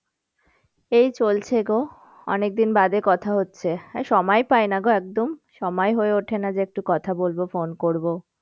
এই চলছে গো, অনেকদিন বাদে কথা হচ্ছে। সময়ই পাইনা গো একদম, সময়ই হয়ে ওঠে না যে একটু কথা বলবো phone করবো।